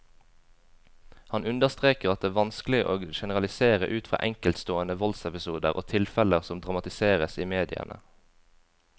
Han understreker at det vanskelig å generalisere ut fra enkeltstående voldsepisoder og tilfeller som dramatiseres i mediene.